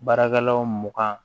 Baarakɛlaw mugan